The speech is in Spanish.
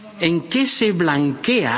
¿en qué se blanquea